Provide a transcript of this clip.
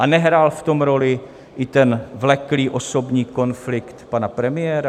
A nehrál v tom roli i ten vleklý osobní konflikt pana premiéra?